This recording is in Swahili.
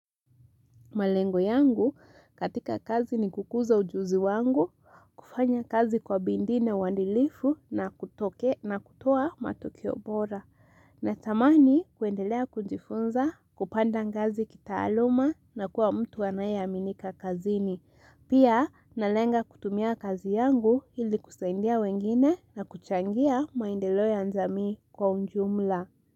Malengo yangu katika kazi ni kukuza ujuzi wangu, kufanya kazi kwa bidii na uadilifu na kutokea na kutoa matokeo bora. Natamani kuendelea kujifunza, kupanda ngazi kitaaluma na kuwa mtu anayeaminika kazini. Pia, nalenga kutumia kazi yangu ili kusaidia wengine na kuchangia maendeleo ya jamii kwa ujumla.